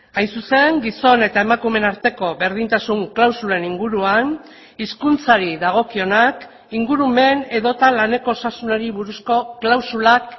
hain zuzen gizon eta emakumeen arteko berdintasun klausulen inguruan hizkuntzari dagokionak ingurumen edota laneko osasunari buruzko klausulak